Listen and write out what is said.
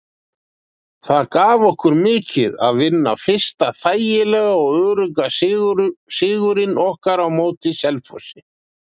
Það gaf okkur mikið að vinna fyrsta þægilega og örugga sigurinn okkar á móti Selfossi.